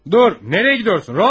Dur, hara gedirsən, Rodiya?